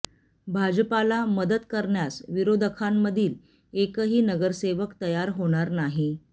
भाजपाला मदत करण्यास विरोधकांमधील एकही नगरसेवक तयार होणार नाही